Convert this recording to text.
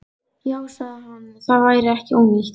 Já, sagði hann, það væri ekki ónýtt.